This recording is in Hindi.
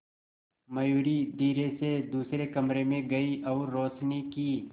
मयूरी धीरे से दूसरे कमरे में गई और रोशनी की